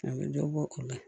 A bɛ dɔ bɔ o la